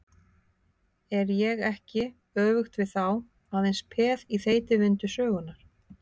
Er ég ekki, öfugt við þá, aðeins peð í þeytivindu sögunnar?